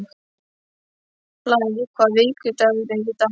Blær, hvaða vikudagur er í dag?